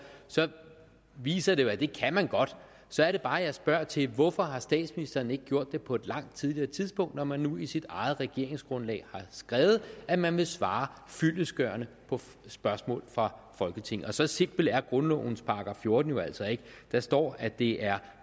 så viser det sig jo at det kan man godt så er det bare jeg spørger til hvorfor statsministeren ikke har gjort det på et langt tidligere tidspunkt når man nu i sit eget regeringsgrundlag har skrevet at man vil svare fyldestgørende på spørgsmål fra folketinget og så simpel er grundlovens § fjorten jo altså ikke der står at det er